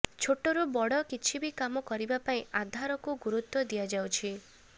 ଛୋଟରୁ ବଡ଼ କିଛି ବି କାମ କରିବା ପାଇଁ ଆଧାରକୁ ଗରୁତ୍ୱ ଦିଆଯାଉଛି